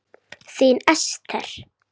Þín Esther.